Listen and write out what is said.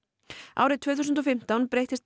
árið tvö þúsund og fimmtán breyttist